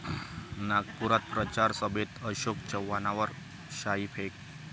नागपुरात प्रचार सभेत अशोक चव्हाणांवर शाईफेक